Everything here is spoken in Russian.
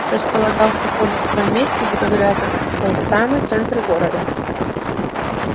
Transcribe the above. располагался полис в том месте где когда-то был самый центр города